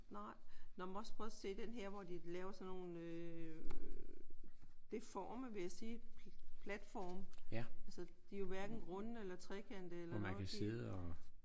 Nej. Nej men også prøv at se den her hvor de laver sådan nogle øh deforme vil jeg sige platforme. Altså de er jo hverken runde eller trekantede eller noget de er